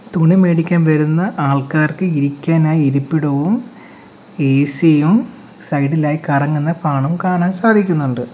തുണി മേടിക്കാൻ വരുന്ന ആൾക്കാർക്ക് ഇരിക്കാനായി ഇരിപ്പിടവും എ_സി യും സൈഡ് ഇലായി കറങ്ങുന്ന ഫാനും കാണാൻ സാധിക്കുന്നുണ്ട്.